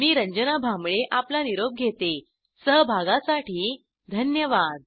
मी रंजना भांबळे आपला निरोप घेते सहभागासाठी धन्यवाद